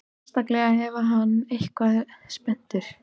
Sérstaklega ef hann er eitthvað spenntur.